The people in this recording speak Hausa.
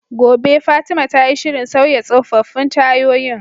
Gobe ​​Fatima tayi shirin sauya tsofaffin tayoyin